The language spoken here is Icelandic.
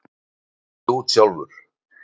Snautaðu út sjálfur!